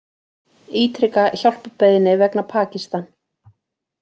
Ítreka hjálparbeiðni vegna Pakistan